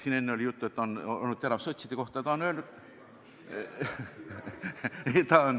Siin enne oli juttu, et ta on olnud terav sotside suhtes.